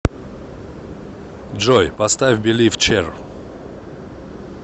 джой поставь билив чер